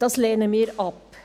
Das lehnen wir ab.